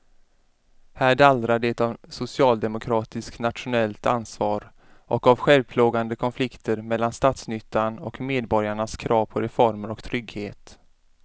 Här dallrar det av socialdemokratiskt nationellt ansvar och av självplågande konflikter mellan statsnyttan och medborgarnas krav på reformer och trygghet.